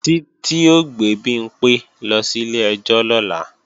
Títí ó gbé Bimpé lọ sílé ẹjọ́ lọ́la